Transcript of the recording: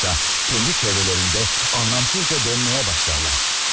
Yoxsa, kəndi çevrələrində anlamsızca dönməyə başlarlar.